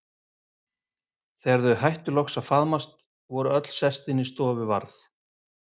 Þegar þau hættu loks að faðmast og voru öll sest inn í stofu varð